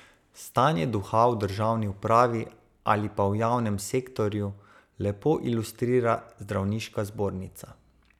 Stanje duha v državni upravi, ali pa v javnem sektorju, lepo ilustrira zdravniška zbornica.